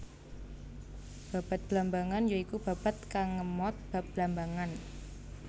Babad Blambangan ya iku babad kang ngemot bab Blambangan